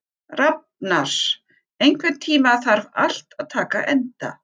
Rafnar, einhvern tímann þarf allt að taka enda.